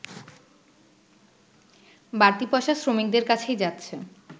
বাড়তি পয়সা শ্রমিকদের কাছেই যাচ্ছে